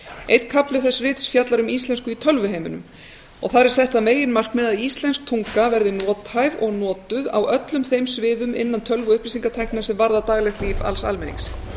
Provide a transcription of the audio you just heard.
einn kafli þess rits fjallar um íslensku í tölvuheiminum þar er sett það meginmarkmið að íslensk tunga verði nothæf og notuð á öllum þeim sviðum innan tölvu og upplýsingatækninnar sem varða daglegt líf alls almennings